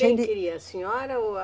Quem queria, a senhora ou a...